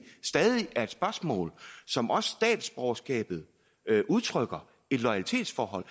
stadig er et spørgsmål som også statsborgerskabet udtrykker et loyalitetsforhold